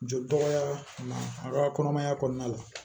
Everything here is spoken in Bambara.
Joli dɔgɔya a ka kɔnɔmaya kɔnɔna la